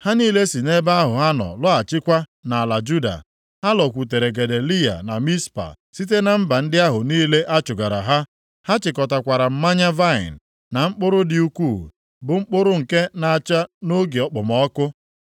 ha niile si nʼebe ahụ ha nọ lọghachikwa nʼala Juda. Ha lọkwutere Gedaliya na Mizpa, site na mba ndị ahụ niile a chụgara ha. Ha chịkọtakwara mmanya vaịnị, na mkpụrụ dị ukwuu, bụ mkpụrụ nke na-acha nʼoge okpomọkụ.